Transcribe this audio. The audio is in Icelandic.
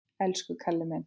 Elsku Kalli minn!